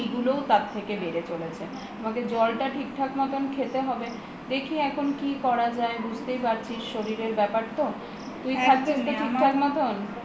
এইগুলোও তার থেকে বেড়ে চলেছেআমাকে জলটা ঠিকঠাক মতো খেতে হবে দেখি এখন কি করা যায়বুঝতেই পারছিস শরীরের ব্যাপার তো তুই খাচ্ছিস তো ঠিক থাক মতো